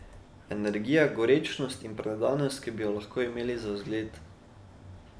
Energija, gorečnost in predanost, ki bi jo lahko imeli za zgled.